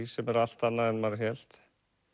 sem er allt annað en maður hélt